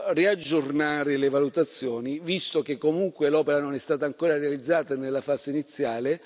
fa riaggiornare le valutazioni, visto che comunque l'opera non è stata ancora realizzata, è nella fase iniziale.